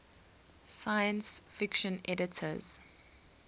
science fiction editors